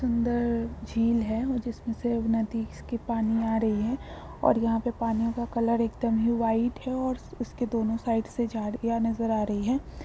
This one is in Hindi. सुंदर झील है और जिसमे से नदी पानी आ रही है और यहाँ पे पानीयो का कलर एकदम ही व्हाइट है और उसके दोनों साइड से झाड़िया नजर आ रही है।